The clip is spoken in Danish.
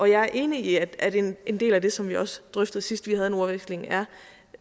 jeg er enig i at en del af det som vi også drøftede sidst vi havde en ordveksling er